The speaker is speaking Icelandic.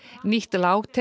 nýtt